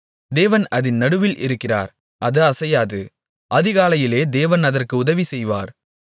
தேவன் அதின் நடுவில் இருக்கிறார் அது அசையாது அதிகாலையிலே தேவன் அதற்கு உதவி செய்வார்